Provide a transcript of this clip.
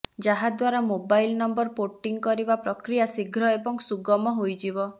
ଯାହାଦ୍ୱାରା mobile number porting କରିବା ପ୍ରକ୍ରିୟା ଶୀଘ୍ର ଏବଂ ସୁଗମ ହୋଇଯିବ